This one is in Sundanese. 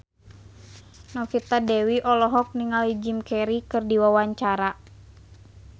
Novita Dewi olohok ningali Jim Carey keur diwawancara